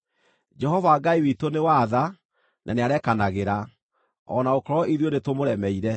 Jehova Ngai witũ nĩ wa tha na nĩarekanagĩra, o na gũkorwo ithuĩ nĩtũmũremeire;